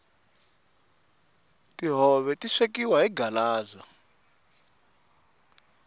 tihove ti swekiwa hi galaza